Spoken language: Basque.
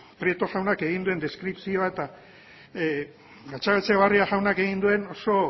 prieto jaunak egin duen deskripzioa eta gatzagaetxebarria jaunak egin duen oso